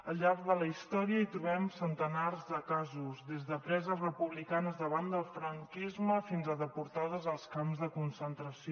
al llarg de la història hi trobem centenars de casos des de preses republicanes davant del franquisme fins a deportades als camps de concentració